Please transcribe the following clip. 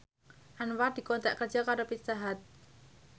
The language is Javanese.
Anwar dikontrak kerja karo Pizza Hut